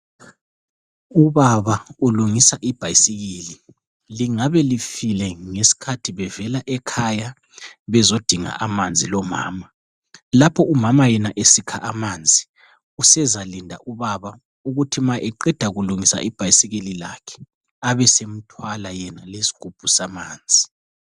Ubaba ulungisa ibhayisikili. Lingabe lifile ngesikhathi bevela ekhaya bezodinga amanzi lomama. Lapho umama yena esikha amanzi usezalinda ubaba ukuthi ma eqeda kulungisa ibhayisikili lakhe abesemthwala yena lesigubhu samanzi.